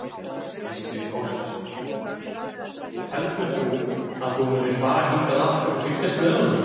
Gísli Óskarsson: Heldur þú að þú munir fara hingað aftur og fylgjast með honum?